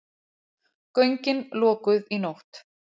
Göngin lokuð í nótt